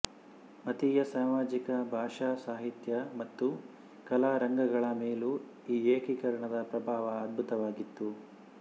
ಮತೀಯ ಸಾಮಾಜಿಕ ಭಾಷಾ ಸಾಹಿತ್ಯ ಮತ್ತು ಕಲಾರಂಗಗಳ ಮೇಲೂ ಈ ಏಕೀಕರಣದ ಪ್ರಭಾವ ಅದ್ಭುತವಾಗಿತ್ತು